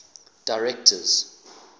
directors